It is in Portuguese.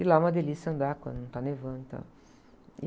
E lá é uma delícia andar quando não tá nevando e tal.